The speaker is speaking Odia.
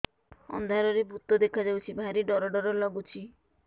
ଅନ୍ଧାରରେ ଭୂତ ଦେଖା ଯାଉଛି ଭାରି ଡର ଡର ଲଗୁଛି